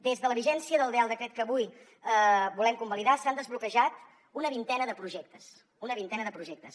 des de la vigència del decret que avui volem convalidar s’han desblocat una vintena de projectes una vintena de projectes